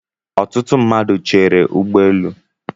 Ọtụtụ mmadụ Chéré ụgbọelu